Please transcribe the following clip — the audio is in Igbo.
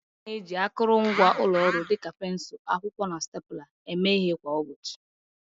A na-eji akụrụngwa ụlọ ọrụ dịka pensụl, akwụkwọ, na stapler eme ihe kwa ụbọchị.